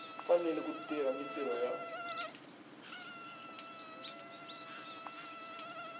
fanele ku tirha mintirho ya